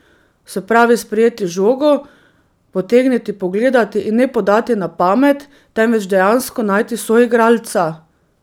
Se pravi sprejeti žogo, potegniti, pogledati in ne podati na pamet, temveč dejansko najti soigralca.